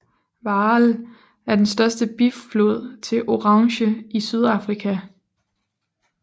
Vaal er den største biflod til Oranje i Sydafrika